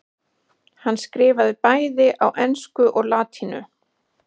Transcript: hann skrifaði bæði á ensku og latínu